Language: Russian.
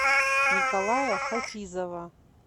николая хафизова